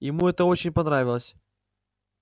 ему это очень понравилось